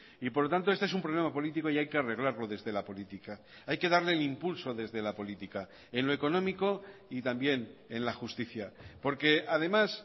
y por lo tanto este es un problema político y hay que arreglarlo desde la política hay que darle el impulso desde la política en lo económico y también en la justicia porque además